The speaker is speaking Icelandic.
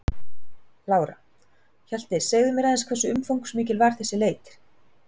Lára: Hjalti, segðu mér aðeins hversu umfangsmikil var þessi leit?